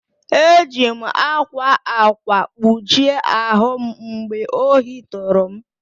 Eji m ákwá ákwà kpuchie ahụ m mgbe ohi tụrụ m.